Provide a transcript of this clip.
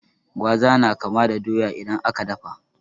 Gwaza na kama da doya idan aka dafa.